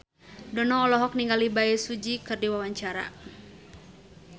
Dono olohok ningali Bae Su Ji keur diwawancara